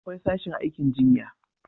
akwai sashin aikin jinya